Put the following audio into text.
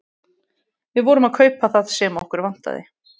Við vorum að kaupa það sem okkur vantaði.